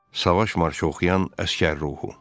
Savaş marşı oxuyan əsgər ruhu.